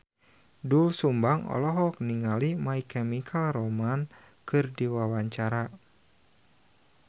Doel Sumbang olohok ningali My Chemical Romance keur diwawancara